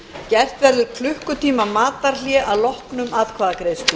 gert verður klukkutíma matarhlé að loknum atkvæðagreiðslum